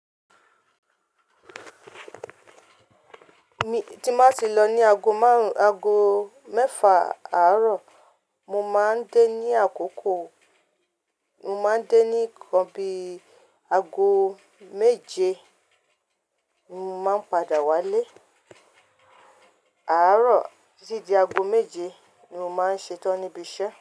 Mi tí n ba tì lọ ní ago márùn-ago mẹ́fà àárọ̀, mo máa ń dé ní àkókò, mo máa ń dé ní ìkan bí ago méje, ni mo máa ń padà wálé. Àárọ̀ títí di ago méje ni mo máa ń ṣetán níbi iṣẹ́.